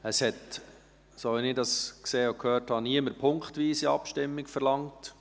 Es hat, so wie ich das gesehen und gehört habe, niemand punktweise Abstimmung verlangt.